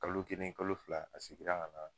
Kalo kelen kalo fila a segira ka na